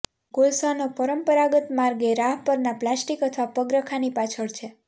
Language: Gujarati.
કોલસાનો પરંપરાગત માર્ગ એ રાહ પરના પ્લાસ્ટિક અથવા પગરખાંની પાછળ છે